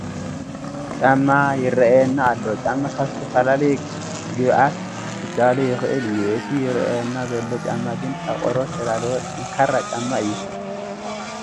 ጫማ ይርአየና ኣሎ፡፡ ጫማ ካብ ዝተፈላለየ ግብኣት ክዳሎ ይኽእል እዩ፡፡ እቲ ይርአየና ዘሎ ጫማ ግን ካብ ቆርበት ዝተዳለወ ጠንካራ ጫማ እዩ፡፡